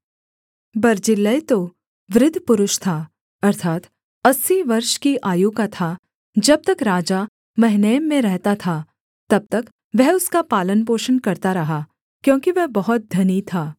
बर्जिल्लै तो वृद्ध पुरुष था अर्थात् अस्सी वर्ष की आयु का था जब तक राजा महनैम में रहता था तब तक वह उसका पालनपोषण करता रहा क्योंकि वह बहुत धनी था